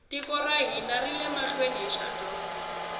tiko ra hina rile mahlweni hi dyondzo